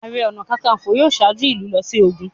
Ààrẹ ọ̀nà kakaǹfò yóò ṣáájú ìlú lọ sí ogun.